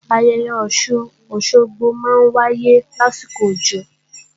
Ayẹyẹ Ọ̀sun-Òsogbo máa ń wáyé lásìkò òjò